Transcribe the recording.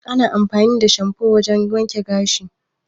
Ana amfani da shanfo wajan wanke gashi